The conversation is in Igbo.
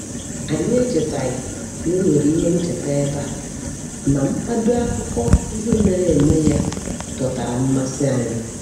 Anyị echetaghị na e nwere ihe ncheta ebe a, ma mkpado akụkọ ihe mere eme ya dọtara mmasị anyị.